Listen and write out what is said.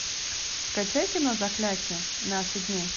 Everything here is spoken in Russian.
скачай кино заклятье наши дни